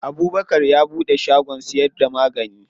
Abubkar ya buɗe shagon siyar da magani.